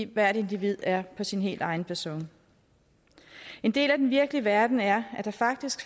hvert individ er på sin helt egen facon en del af den virkelige verden er at der faktisk